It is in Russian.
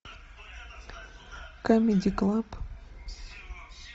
камеди клаб